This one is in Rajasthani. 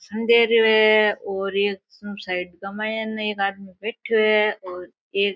भाषण दे रेहो है और एक साइड का माइने एक आदमी बैठयो है और एक --